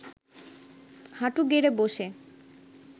হাঁটু গেড়ে বসে